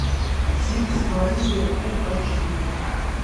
зильс мария фул айч ди